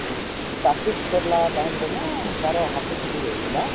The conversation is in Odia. practice କରିଲା time ରେ ନା ତାର ହାତ ଛିଣ୍ଡିଯାଇଥିଲା